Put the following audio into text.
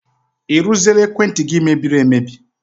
I rụziela ekwentị gị mebiri emebi?